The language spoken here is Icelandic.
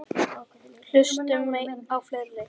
Hlustum á fleiri!